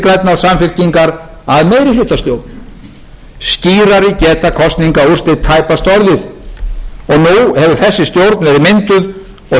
og samfylkingar að meirihlutastjórn skýrari geta kosningaúrslit tæpast orðið nú hefur þessi stjórn verið mynduð og